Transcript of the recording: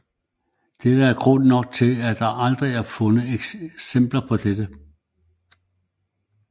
Dette er nok grunden til at der aldrig er fundet eksempler på dette